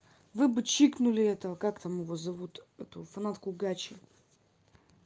вы бы чикнули этого как там его зовут эту фанатку гачи